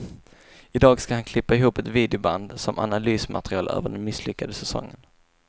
I dag ska han klippa ihop ett videoband som analysmaterial över den misslyckade säsongen.